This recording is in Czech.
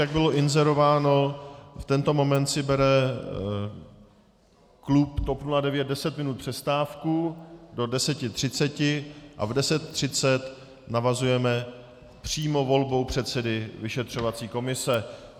Jak bylo inzerováno, v tento moment si bere klub TOP 09 deset minut přestávku do 10.30 a v 10.30 navazujeme přímo volbou předsedy vyšetřovací komise.